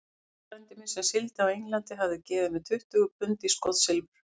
Páll frændi minn, sem sigldi á England, hafði gefið mér tuttugu pund í skotsilfur.